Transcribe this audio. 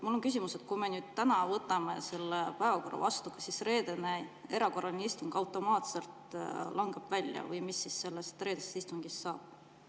Mul on küsimus: kui me täna kinnitame selle päevakorra, kas siis reedene erakorraline istung automaatselt langeb välja või mis sellest istungist saab?